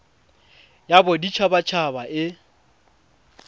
ya bodit habat haba e